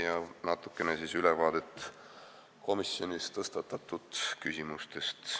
Annan lühikese ülevaate komisjonis tõstatatud küsimustest.